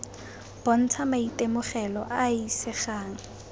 bontsha maitemogelo a a isegang